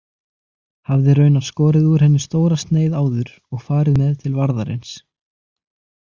Hafði raunar skorið úr henni stóra sneið áður og farið með til varðarins.